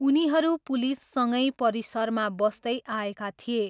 उनीहरू पुलिससँगै परिसरमा बस्दै आएका थिए।